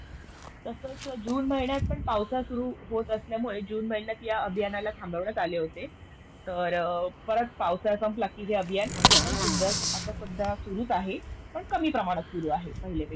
तसंच जून महिन्यात पण पावसाळा सुरू होत असल्यामुळे जून महिन्यात या अभियानाला थांबविण्यात आले होते. तर परत पावसाळा संपला की हे अभियान आता पण सध्या आता सध्या सुरूच आहे, पण कामी प्रमाणात सुरू आहे पहिलेपेक्षा.